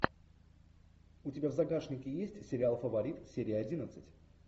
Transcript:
у тебя в загашнике есть сериал фаворит серия одиннадцать